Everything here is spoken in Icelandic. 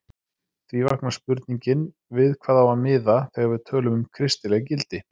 Því vaknar spurningin við hvað á að miða þegar við tölum um kristileg gildi?